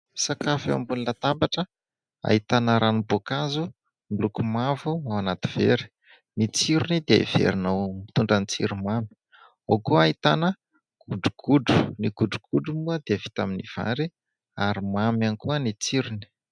Sakafo eo ambony latabatra ahitana ranom-boakazo, miloko mavo ao anaty vera, ny tsirony dia iverinao mitondra tsiro mamy, ao koa ahitana godogodro . Ny godrogodro moa dia vita amin'ny vary ary mamy ihany koa ny tsirony.